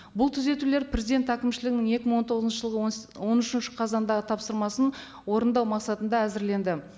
бұл түзетулер президент әкімшілігінің екі мың он тоғызыншы жылғы он он үшінші қазандағы тапсырмасын орындау мақсатында әзірленді